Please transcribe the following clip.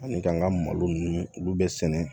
Ani k'an ka malo ninnu olu bɛ sɛnɛ